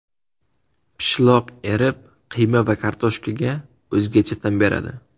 Pishloq erib, qiyma va kartoshkaga o‘zgacha ta’m beradi.